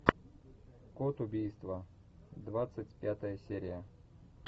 код убийства двадцать пятая серия